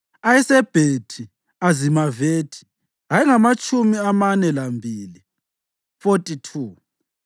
ayeseBethi Azimavethi ayengamatshumi amane lambili (42),